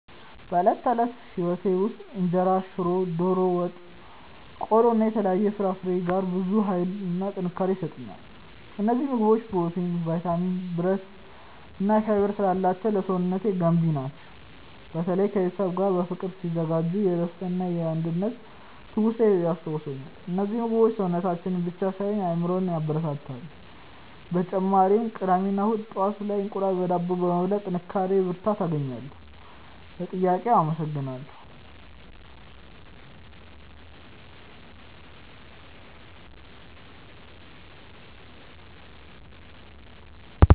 በዕለት ተዕለት ሕይወቴ ውስጥ እንጀራ፣ ሽሮ፣ ዶሮ ወጥ፣ ቆሎ እና የተለያዩ ፍራፍሬዎች ጋር ብዙ ኃይልና ጥንካሬ ይሰጡኛል። እነዚህ ምግቦች ፕሮቲን፣ ቫይታሚን፣ ብረት እና ፋይበር ስላላቸው ለሰውነቴ ገንቢ ናቸው። በተለይ ከቤተሰብ ጋር በፍቅር ሲዘጋጁ የደስታና የአንድነት ትውስታዎችን ያስታውሱኛል። እነዚህ ምግቦች ሰውነቴን ብቻ ሳይሆን አእምሮዬንም ያበረታታሉ። በተጨማሪም ቅዳሜ እና እሁድ ጠዋት ላይ እንቁላል በዳቦ በመብላት ጥንካሬ እና ብርታት አገኛለሁ። ለጥያቄው አመሰግናለሁ።